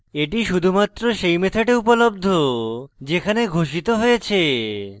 এটি শুধুমাত্র সেই method উপলব্ধ যেখানে ঘোষিত হয়েছে